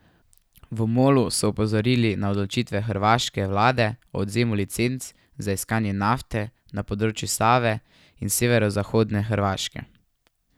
V Molu so opozorili na odločitev hrvaške vlade o odvzemu licenc za iskanje nafte na področju Save in severozahodne Hrvaške.